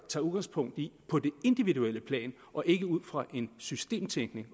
tager udgangspunkt i på det individuelle plan og ikke ud fra en systemtænkning